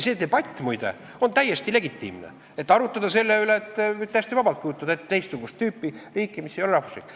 See debatt, muide, on täiesti legitiimne, võib täiesti vabalt ette kujutada teist tüüpi riiki, mis ei ole rahvusriik.